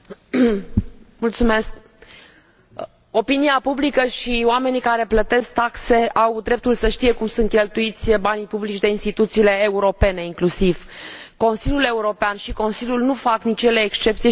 Opinia publică și oamenii care plătesc taxe au dreptul să știe cum sunt cheltuiți banii publici de instituțiile europene, inclusiv de Consiliul European și Consiliu acestea nu fac nici ele excepție și nici nu trebuie să facă excepție de la acest principiu.